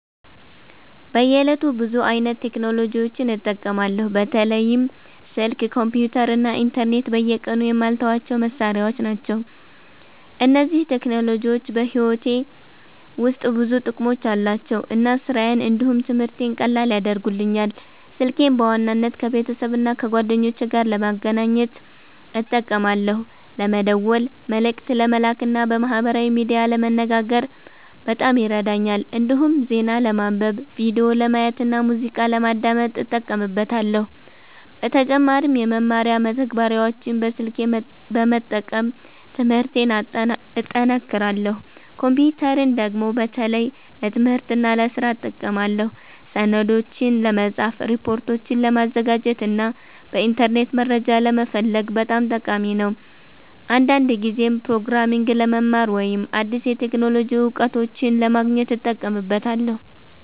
በየዕለቱ ብዙ አይነት ቴክኖሎጂዎችን እጠቀማለሁ። በተለይም ስልክ፣ ኮምፒተር እና ኢንተርኔት በየቀኑ የማልተዋቸው መሳሪያዎች ናቸው። እነዚህ ቴክኖሎጂዎች በሕይወቴ ውስጥ ብዙ ጥቅሞች አሏቸው እና ስራዬን እንዲሁም ትምህርቴን ቀላል ያደርጉልኛል። ስልኬን በዋናነት ከቤተሰብና ከጓደኞቼ ጋር ለመገናኘት እጠቀማለሁ። ለመደወል፣ መልእክት ለመላክ እና በማህበራዊ ሚዲያ ለመነጋገር በጣም ይረዳኛል። እንዲሁም ዜና ለማንበብ፣ ቪዲዮ ለማየት እና ሙዚቃ ለማዳመጥ እጠቀምበታለሁ። በተጨማሪም የመማሪያ መተግበሪያዎችን በስልኬ በመጠቀም ትምህርቴን እጠናክራለሁ። ኮምፒተርን ደግሞ በተለይ ለትምህርትና ለስራ እጠቀማለሁ። ሰነዶችን ለመጻፍ፣ ሪፖርቶችን ለማዘጋጀት እና በኢንተርኔት መረጃ ለመፈለግ በጣም ጠቃሚ ነው። አንዳንድ ጊዜም ፕሮግራሚንግ ለመማር ወይም አዲስ የቴክኖሎጂ እውቀቶችን ለማግኘት እጠቀምበታለሁ።